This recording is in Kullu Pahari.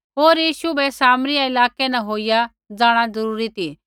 होर यीशु बै सामरिया इलाकै न होईया जाँणा जरूरी ती